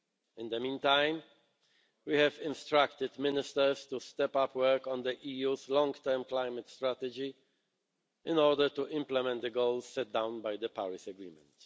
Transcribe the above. In the meantime, we have instructed Ministers to step up work on the EU's long-term climate strategy in order to implement the goals set down by the Paris Agreement.